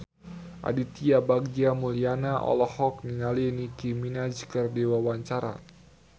Aditya Bagja Mulyana olohok ningali Nicky Minaj keur diwawancara